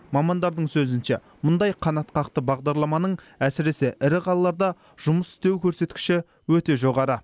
мамандардың сөзінше мұндай қанатқақты бағдарламаның әсіресе ірі қалаларда жұмыс істеу көрсеткіші өте жоғары